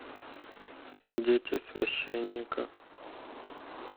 дети священника